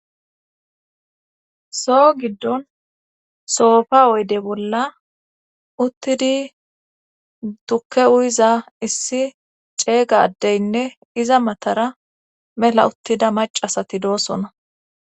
soo giddon soofa woyde bolla uttidi tukke uyiza issi ceeyga addeynne iza matara mela uttida macasati doosona